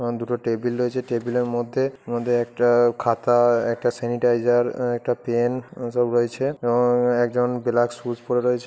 এবং দুটো টেবিল রয়েছে টেবিলের মধ্যে এর মধ্যে একটা খাতা আর একটা স্যানিটাইজার একটা পেন এসব রয়েছে এবং একজন ব্ল্যাক শুজ পড়ে রয়েছে